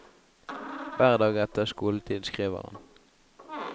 Hver dag etter skoletid skriver han.